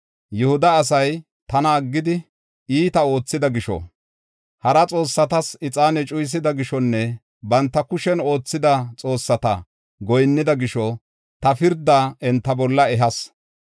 Yihuda asay tana aggidi, iita oothida gisho, hara xoossatas ixaane cuyisida gishonne banta kushen oothida xoossata goyinnida gisho ta pirdaa enta bolla ehas.